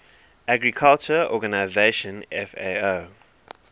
agriculture organization fao